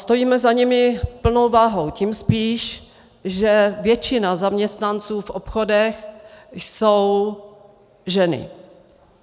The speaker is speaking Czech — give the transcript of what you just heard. Stojíme za nimi plnou vahou tím spíš, že většina zaměstnanců v obchodech jsou ženy.